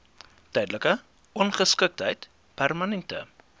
tydelike ongeskiktheid permanente